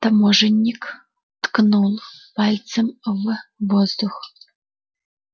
таможенник ткнул пальцем в воздух